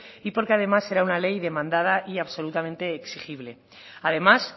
y porque además era una ley demandada y absolutamente exigible además